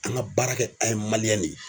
An ka baara kɛ an ye de ye.